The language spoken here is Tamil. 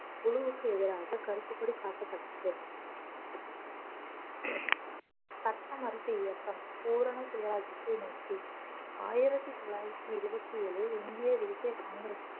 குழுவுக்கு எதிராக கருப்பு கொடி காட்டப்பட்டது சட்ட மறுப்பு இயக்கம் பூரண சுயராஜ்ஜியத்தை நோக்கி ஆயிரத்தி தொள்ளாயிரத்தி இருபத்தி ஏழு இந்திய தேசிய காங்கிரஸ்